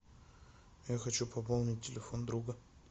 я хочу пополнить телефон друга